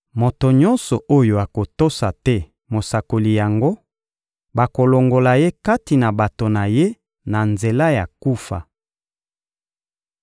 Moto nyonso oyo akotosa te mosakoli yango, bakolongola ye kati na bato na ye na nzela ya kufa.»